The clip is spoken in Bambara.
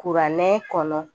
Kuranɛ kɔnɔ